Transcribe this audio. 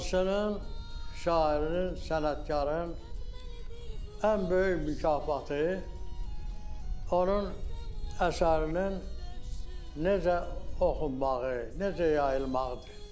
Yazıçının, şairinin, sənətkarın ən böyük mükafatı onun əsərinin necə oxunmağı, necə yayılmağıdır.